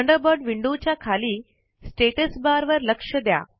Thunderbird window च्या खाली status bar वर लक्ष द्या